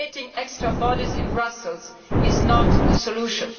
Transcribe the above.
Creating extra bodies in Brussels is not the solution.